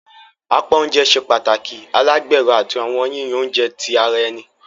Apá oúnjẹ ṣe pàtàkì alagbero, àti awọn yiyan oúnjẹ ti ara ẹni.